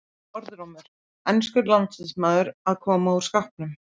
Orðrómur: Enskur landsliðsmaður að koma úr skápnum?